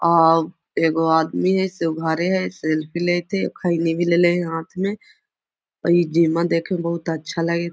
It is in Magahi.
आ एगो आदमी है ऐसे उघारे है सेल्फी लेवत है खैनी भी लैले है हाथ में इ जिमा देखेमें बहुत अच्छा लगे --